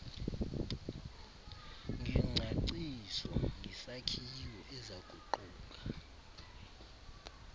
ngengcaciso ngesakhiwo ezakuquka